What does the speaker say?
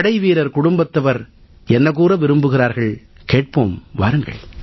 படைவீரர் குடும்பத்தவர் என்ன கூற விரும்புகிறார்கள் என்பதைக் கேட்போம் வாருங்கள்